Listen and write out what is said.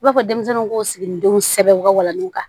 I b'a fɔ denmisɛnninw k'o sigidenw sɛbɛn u ka walaninw kan